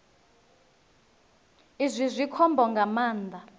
izwi zwi khombo nga maanḓa